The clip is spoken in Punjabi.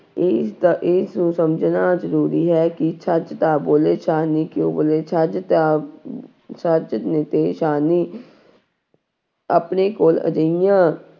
ਇਸਦਾ ਇਸਨੂੰ ਸਮਝਣਾ ਜ਼ਰੂਰੀ ਹੈ ਕਿ ਛੱਜ ਤਾਂ ਬੋਲੇ ਛਾਨਣੀ ਕਿਉਂ ਬੋਲੇ, ਛੱਜ ਤਾਂ ਛੱਜ ਤੇ ਛਾਨਣੀ ਆਪਣੇ ਕੋਲ ਅਜਿਹੀਆਂ